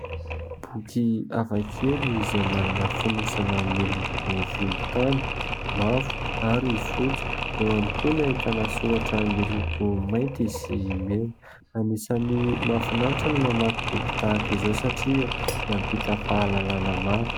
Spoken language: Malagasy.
Boky hafa kely izay manana fonosana miloko volontany, mavo ary fotsy. Eo ihany koa no ahitana soratra miloko mainty sy mena. Anisan'ny mahafinaritra ny mamaky boky tahaka izao satria mampita fahalalana maro.